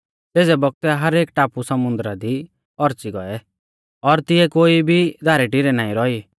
सेज़ै बौगतै हर एक टापु समुन्दरा दी औच़ी गौऐ और तिऐ कोई भी धारैटिरै नाईं रौई